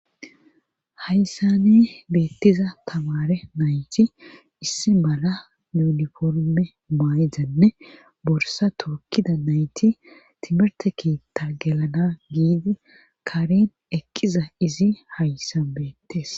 hayssane beettiza tamare nayti issi mala uniforme maayzanne borsa tokida nayti timirte keitta gelana giidi karin eqqiza izi hayssan beettes